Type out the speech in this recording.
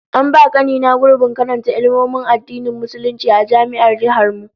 An ba kani na gurbin karanta Ilmomin Addinin Musulunci a Jami'ar Jihar mu